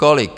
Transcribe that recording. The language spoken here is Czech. Kolik?